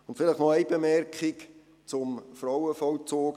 Vielleicht noch eine Bemerkung zum Frauenvollzug